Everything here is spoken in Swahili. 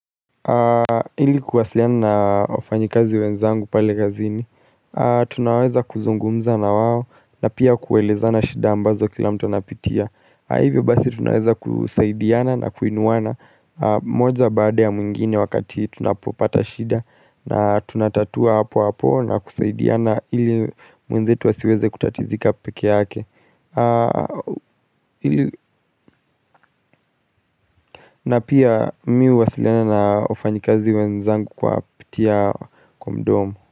Ili kuwasiliana na wafanyikazi wenzangu pale kazini tunaweza kuzungumza na wao na pia kuelezana shida ambazo kila mtu anapitia au hivyo basi tunaweza kusaidiana na kuinuana moja baada ya mwingine wakati tunapopata shida na tunatatua hapo hapo na kusaidiana ili mwenzetu asiweze kutatizika pekee yake na pia miu wasilena na ofanyikazi wenzangu kwa pitia kumdomu.